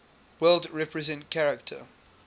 world represent character